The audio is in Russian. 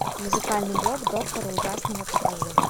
музыкальный блог доктора ужасного покажи